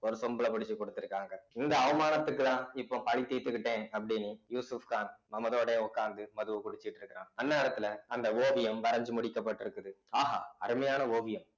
ஒரு சொம்புல பிடிச்சு குடுத்திருக்காங்க இந்த அவமானத்துக்குதான் இப்ப பழி தீர்த்துக்கிட்டேன் அப்படின்னு யூசுப் கான் மமதோடையே உட்கார்ந்து மதுவை குடிச்சிட்டு இருக்கான் அந்நேரத்துல அந்த ஓவியம் வரைஞ்சு முடிக்கப்பட்டிருக்குது ஆஹா அருமையான ஓவியம்